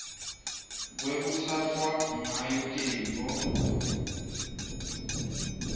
lekutsatfwa ngayo tintfo